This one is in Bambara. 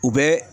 U bɛ